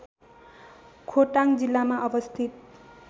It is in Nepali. खोटाङ जिल्लामा अवस्थित